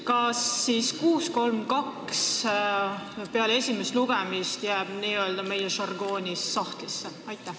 Kas siis 632 jääb peale esimest lugemist n-ö sahtlisse, kui meie žargooni kasutada?